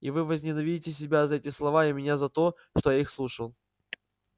и вы возненавидите себя за эти слова и меня за то что я их слушал